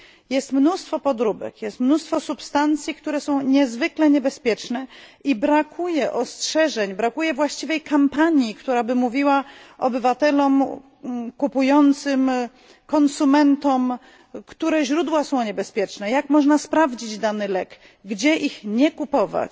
Jest mnóstwo podróbek, jest mnóstwo substancji, które są niezwykle niebezpieczne, i brakuje ostrzeżeń i właściwej kampanii, która by mówiła obywatelom kupującym, konsumentom, które źródła są niebezpieczne, jak można sprawdzić dany lek, gdzie ich nie kupować.